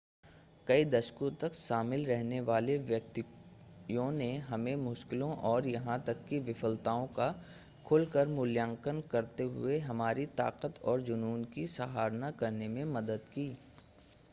कई दशकों तक शामिल रहने वाले व्यक्तियों ने हमें मुश्किलों और यहाँ तक ​​कि विफलताओं का खुलकर मूल्यांकन करते हुए हमारी ताकत और जुनून की सराहना करने में मदद की